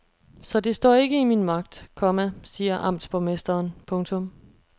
Så det står ikke i min magt, komma siger amtsborgmesteren. punktum